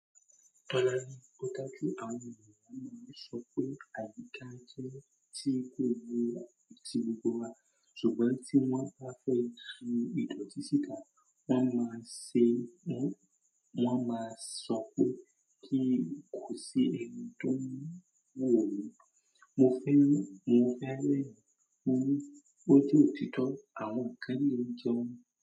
Tọ́la ní ọ́ta kí àwọn ènìyàn máa ń sọ pé àyíká jẹ́ tí kò gbóná ti gbogbo wa, ṣùgbọ́n tí wọ́n bá fẹ́ tu ìdọ̀tí síta wọ́n máa ń ṣe, wọ́n máa ń sọ pé kí kò sí ẹni tó mọ̀ wòó. Mo fẹ́, mo fẹ́ rẹ́rìn-ín kú, ó jẹ́ òtítọ́ àwọn àkànní lè jẹun.